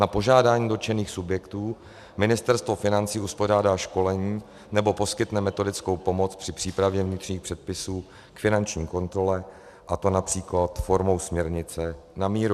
Na požádání dotčených subjektů Ministerstvo financí uspořádá školení nebo poskytne metodickou pomoc při přípravě vnitřních předpisů k finanční kontrole, a to například formou směrnice na míru.